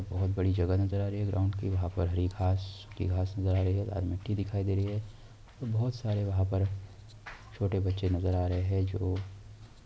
बहुत बड़ी जगह नजर आ रही है ग्राउंड की | वहाँ पर हरी घांस सुखी घांस नजर आ रही है लाल मिट्टी दिखाई दे रही है| बहुत सारे वहाँ पर छोटे बच्चे नजर आ रहे हैं जो--